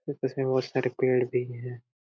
उसमे बहोत सारे पेड़ भी है।